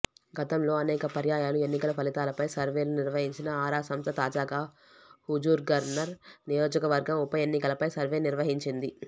గతంలో అనేక పర్యాయాలు ఎన్నికల ఫలితాలపై సర్వేలు నిర్వహించిన ఆరా సంస్థ తాజాగా హుజూర్నగర్ నియోజకవర్గం ఉపఎన్నికలపై సర్వే నిర్వహించింది